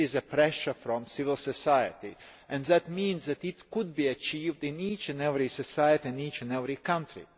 Pressure from civil society could enable this to be achieved in each and every society, in each and every country.